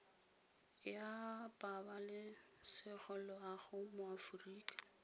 ya pabalesego loago mo aforika